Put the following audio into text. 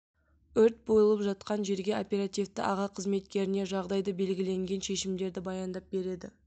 өрт болып жатқан жерге оперативті аға қызметкеріне жағдайды белгіленген шешімдерді баяндап береді